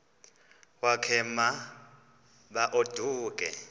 wakhe ma baoduke